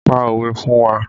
Pa òwe fún wa!